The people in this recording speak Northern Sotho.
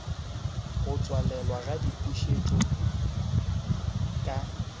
go tswalelwa ga dipušetšo ka